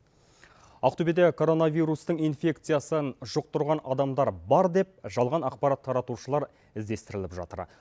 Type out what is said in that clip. ақтөбеде коронавирустың инфекциясын жұқтырған адамдар бар деп жалған ақпарат таратушылар іздестіріліп жатыр